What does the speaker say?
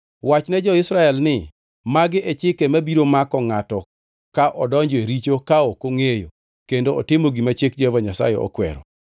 “Wachne jo-Israel ni, ‘Magi e chike mabiro mako ngʼato ka odonjo e richo ka ok ongʼeyo kendo otimo gima chik Jehova Nyasaye okwero: